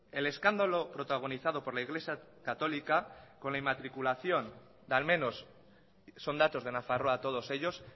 el escándalo protagonizado por la iglesia católica con la inmatriculación de al menos son datos de nafarroa todos ellos